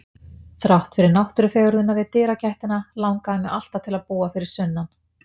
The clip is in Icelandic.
Þrátt fyrir náttúrufegurðina við dyragættina langaði mig alltaf til að búa fyrir sunnan.